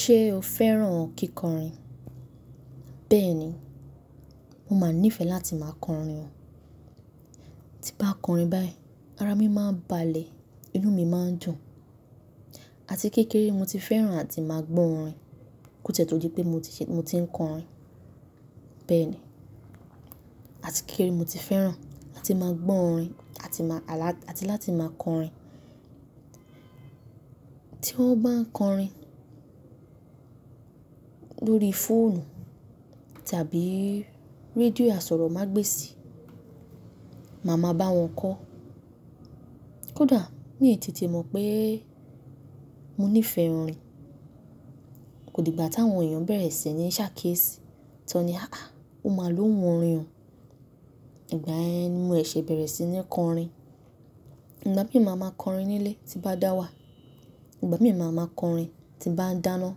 Ṣé o fẹ́ràn kíkọrin? Bẹ́ẹ̀ni, mo máa nífẹ̀ẹ́ láti máa kọrin o. Tí bá kọrin báyìí, ara mi máa ń balẹ̀, inú mi máa ń dùn. Àti kékeré mo ti fẹ́ràn àti máa gbọ́ orin ko tìẹ to di pé mo ti ń kọrin. Bẹ́ẹ̀ni, àti kékeré mo ti fẹ́ràn àti máa gbọ́ orin àti láti máa kọrin. Tí wọ́n bá ń kọrin lórí fóònù tàbí rédíò àsọ̀rọ̀mágbèsì, màá ma bá wọn kọ́. Kódà mí tètè mọ̀ pé mo nífẹ̀ẹ́ orin, kò dìgbà táwọn èèyàn bẹ̀rẹ̀ sí ní ṣàkíyèsí, tán ni, "àáà, ó máa lóhun orin o", ìgbà yẹn ni mo ṣẹ̀ṣẹ bẹ̀rẹ̀ sí ní kọrin. Ìgbà mí máa máa kọrin nílé tí bá dá wà, ìgbà mí máa máa kọrin tí bá n dáná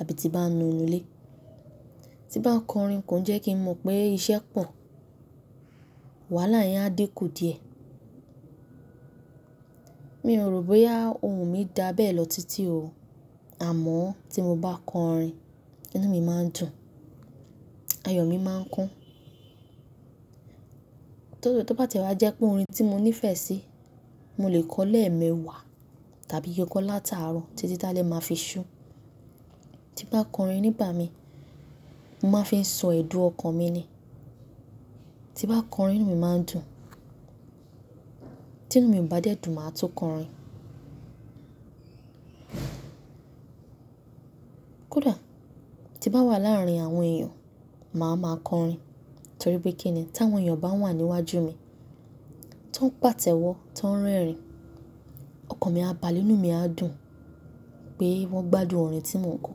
àbí tí bá ń nu inú ilé. Tí bá ń kọrin kò n jẹ́ kí n mọ̀ pé iṣẹ́ pọ̀, wàhálà yẹn á dinkù díẹ̀. Mi ò rò bóyá ohùn mi dà béẹ̀ lọ títí o, àmọ́ tí mo bá kọrin, inú mi máa ń dùn, ayọ̀ mi máa ń kún. Tóbá tìẹ wá jẹ́ pé orin tí mo nífẹ̀ẹ́ sí mo lè kọ lẹ́ẹ̀mẹwàá tàbí kọ látàárọ̀ títí tá lè máa fi ṣú. Tí n bá kọrin nígbà mí, mo máa fi ń sọ ẹdun ọkàn mi ni. Tí bá kọrin inú mi máa ń dùn, tí inú mi ò bá dẹ́ dùn, màá tún kọrin. Kódà tí bá wà láàárín àwọn èèyàn, màá máa kọrin torí pé kíni tí àwọn èèyàn bá wà níwájú mi, tó ń pàtẹ́wọ́, tó ń rẹ́rìn-ín, ọkàn mi á balẹ̀, inú mi á dùn pé wọ́n gbádùn orin tí mò ń kọ.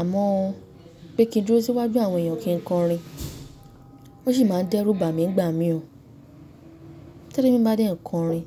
Àmọ́ bí kí ń dúró síwájú àwọn èèyàn kí n kọrin, o sì máa n dẹ́rùbà mí nígbà mì o. Tẹlomi ba dẹ́ n kọrin.